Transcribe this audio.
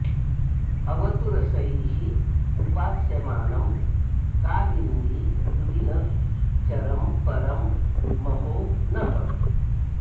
अवतु रसैः उपास्यमानम् कालिन्दी पुलिन चरम् परम् महो नः